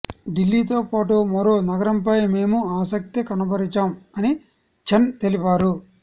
దిల్లీతో పాటు మరో నగరంపై మేము ఆసక్తి కనబరచాం అని చెన్ తెలిపారు